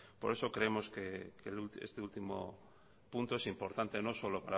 por eso creemos que este último punto es importante no solo